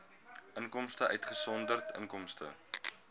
inkomste uitgesonderd inkomste